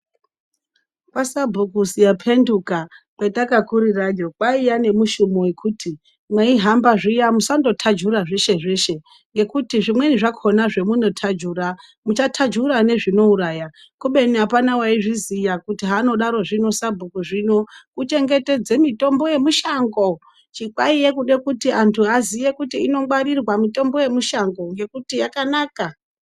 Kwa sabhuku Siyaphenduka kwetakakurirayo, kwaiya nemushumo wekuti mweihamba zviya musandothajura zveshezveshe ngekuti zvimweni zvakhona zvemunothajura muchathajura nezvinouraya kubeni apana waizviziya kuti haanodarozvino sabhuku zvino kuchengetedze mitombo yemushango, chikwaiye kuda kuti antu aziye kuti inongwarirwa mitombo yemushango ngekuti yakanaka.